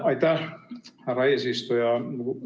Aitäh, härra eesistuja!